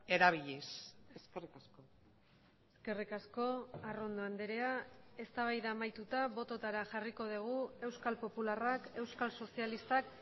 erabiliz eskerrik asko eskerrik asko arrondo andrea eztabaida amaituta bototara jarriko dugu euskal popularrak euskal sozialistak